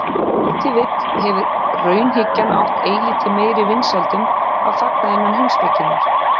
ef til vill hefur raunhyggjan átt eilítið meiri vinsældum að fagna innan heimspekinnar